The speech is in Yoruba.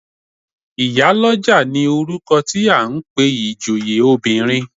Ìyálọ́jà ni orúkọ tí à ń pe ìjòyè obìnrin.